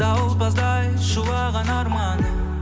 дауылпаздай шулаған арманым